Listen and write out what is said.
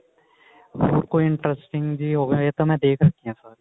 ਹੋਰ ਕੋਈ interesting ਜੀ ਹੋਵੇ ਇਹ ਤਾਂ ਮੈਂ ਦੇਖ ਰੱਖੀਆਂ ਸਾਰੀਆਂ